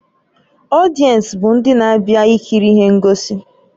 Ọdiensi bụ ndị na-abịa ikiri ihe ngosi